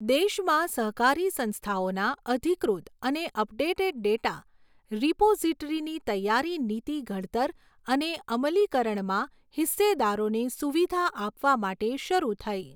દેશમાં સહકારી સંસ્થાઓના અધિકૃત અને અપડેટેડ ડેટા રિપોઝીટરીની તૈયારી નીતિ ઘડતર અને અમલીકરણમાં હિસ્સેદારોને સુવિધા આપવા માટે શરૂ થઈ.